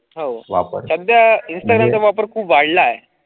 हो इंस्टाग्रामच्या वापर खूप वाढला आहे.